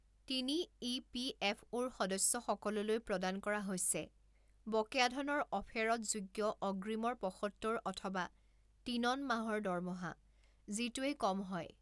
তিনি ইপিএফঅ'ৰ সদস্যসকললৈ প্ৰদান কৰা হৈছে বকেয়া ধনৰ অফেৰৎযোগ্য অগ্ৰীমৰ পঁসত্তৰ অথবা তিনন মাহৰ দৰমহা, যিটোৱেই কম হয়